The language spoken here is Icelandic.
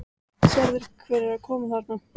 Sérðu hver er að koma þarna?